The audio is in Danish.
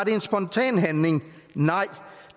en spontan handling nej